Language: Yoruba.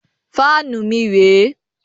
Fáànù mi rẹ̀ ẹ́.